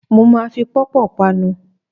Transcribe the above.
Mo ma fi pọ́pọ̀ panu.